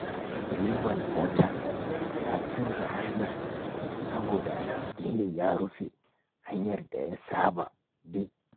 Direban mota ya canza hanya saboda gini ya rufe hanyar da ya saba bi.